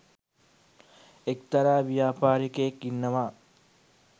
එක්තරා ව්‍යාපාරිකයෙක් ඉන්නවා